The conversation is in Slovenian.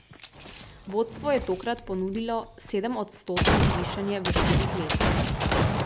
Vodstvo je tokrat ponudilo sedemodstotno zvišanje v štirih letih.